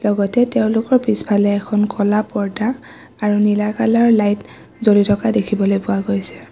লগতে তেওঁলোকৰ পিছফালে এখন ক'লা পৰ্দা আৰু নীলা কালাৰ ৰ লাইট জ্বলি থকা দেখিবলৈ পোৱা গৈছে।